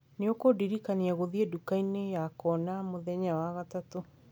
nĩ ũkũndirikania gũthiĩ ndukainĩ ya kona mũthenya wa gatatũ